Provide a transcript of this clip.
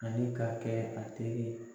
Ani k'a kɛ a teri ye.